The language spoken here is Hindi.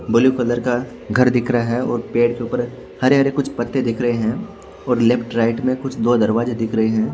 ब्लू कलर का घर दिख रहा है और पेड़ के ऊपर हरे हरे कुछ पत्ते दिख रहे हैं और लेफ्ट राइट में कुछ दो दरवाजे दिख रहे है।